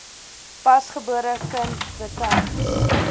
pasgebore kind betyds